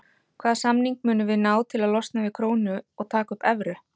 Hvaða samning munum við ná til að losna við krónu og taka upp evru?